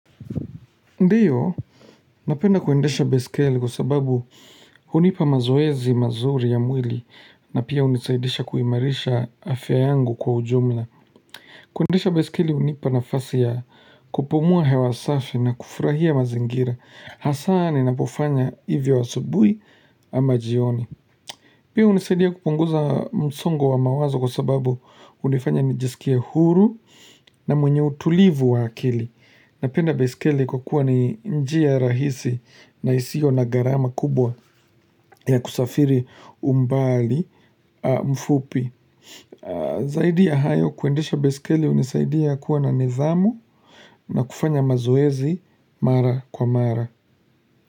Ndiyo, napenda kuendesha baiskeli kwa sababu unipa mazoezi mazuri ya mwili na pia unisaidisha kuimarisha afya yangu kwa ujumla. Kuendesha baiskeli unipa nafasi ya kupumua hewasafi na kufurahia mazingira. Hasani napofanya hivyo asubui ama jioni. Pia unisaidia kupunguza msongo wa mawazo kwa sababu unifanya nijisikie huru na mwenye utulivu wa akili. Napenda baiskeli kwa kuwa ni njia rahisi na isiyo na garama kubwa ya kusafiri umbali mfupi. Zaidi ya hayo kuendesha baiskeli unisaidia kuwa na nidhamu na kufanya mazoezi mara kwa mara.